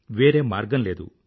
వేరే మార్గం లేదు